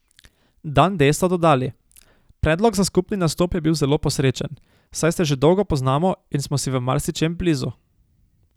Dan D so dodali: "Predlog za skupni nastop je bil zelo posrečen, saj se že dolgo poznamo in smo si v marsičem blizu.